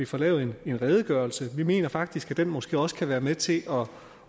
få lavet en redegørelse vi mener faktisk at den måske også kan være med til